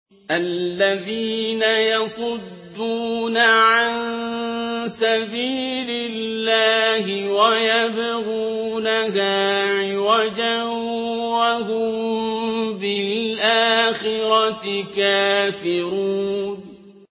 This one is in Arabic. الَّذِينَ يَصُدُّونَ عَن سَبِيلِ اللَّهِ وَيَبْغُونَهَا عِوَجًا وَهُم بِالْآخِرَةِ كَافِرُونَ